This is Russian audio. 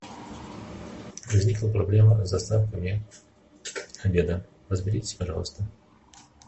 возникла проблема с доставками обеда разберитесь пожалуйста